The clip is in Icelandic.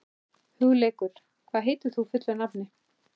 Hugleikur, hvað heitir þú fullu nafni?